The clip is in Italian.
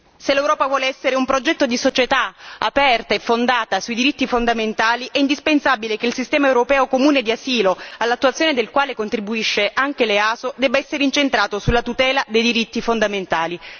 Se l'Europa vuole essere un progetto di società aperta e fondata sui diritti fondamentali è indispensabile che il sistema europeo comune di asilo, all'attuazione del quale contribuisce anche l'EASO, debba essere incentrato sulla tutela dei diritti fondamentali.